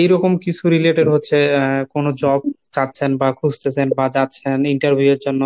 এরকম কিছু related হচ্ছে আহ কোনো job চাচ্ছেন বা খুঁজতাসেন বা যাচ্ছেন Interview এর জন্য